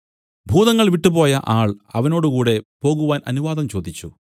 ഭൂതങ്ങൾ വിട്ടുപോയ ആൾ അവനോടുകൂടെ പോകുവാൻ അനുവാദം ചോദിച്ചു